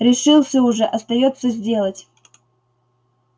решился уже остаётся сделать